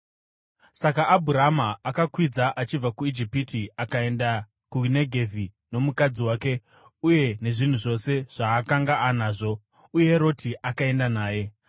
Saka Abhurama akakwidza achibva kuIjipiti akaenda kuNegevhi, nomukadzi wake uye nezvinhu zvose zvaakanga anazvo, uye Roti akaenda naye.